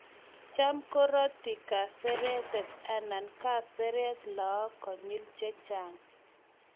cham kuroti kaseretet anan kesereet laak konyil che chang